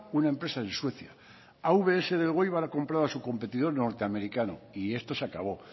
una empresa en suecia avs de elgoibar ha comprado a su competidor norteamericano y esto se acabó